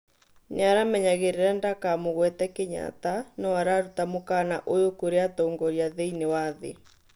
nĩaramenyagĩrĩra ndakamũgwetwe Kenyatta no ararũta mũkana ũyũ kũrĩ atongoria thĩinĩ wa thĩ